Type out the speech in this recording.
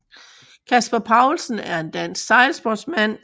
Kasper Paulsen er en dansk sejlsportsmand